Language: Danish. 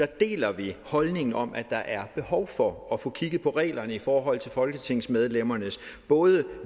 deler holdningen om at der er behov for at få kigget på reglerne i forhold til folketingsmedlemmernes både